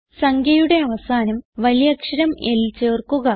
സംഖ്യയുടെ അവസാനം വലിയക്ഷരം L ചേർക്കുക